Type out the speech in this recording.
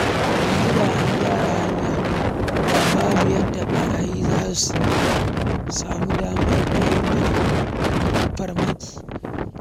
Yanzu da an gyara hanyar da babu yadda ɓarayi za su sami damar kai mana farmaki.